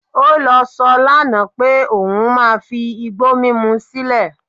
Ó sọ lánàá pé òun máa fi igbó mímú sílẹ̀